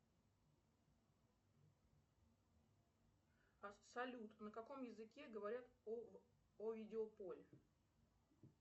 салют на каком языке говорят о видеополе